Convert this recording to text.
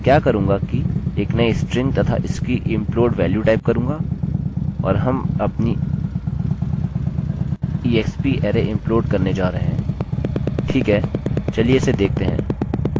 तो मैं क्या करूँगा कि एक नई स्ट्रिंग तथा इसकी implode वेल्यू टाइप करूँगा और हम अपनी exparray implode करने जा रहे हैं